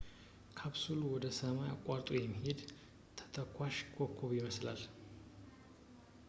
ካፕሱሉ ወደ ሰማይ አቋርጦ የሚሄድ ተተኳሽ ኮከብ ይመስላል